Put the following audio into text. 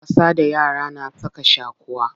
Wasa da yara na saka shaquwa.